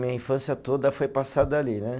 Minha infância toda foi passada ali, né.